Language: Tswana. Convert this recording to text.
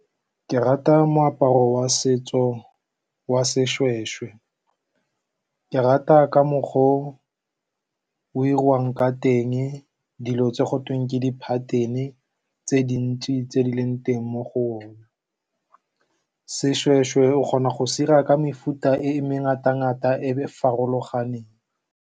Ke rata moaparo wa setso wa seshweshwe. Ke rata ka mokgwa o o 'iriwang ka teng. Dilo tse go teng ke di-pattern-e tse dintsi tse di leng teng mo go . Seshweshwe o kgona go se 'ira ka mefuta e mengata-ngata e e farologaneng.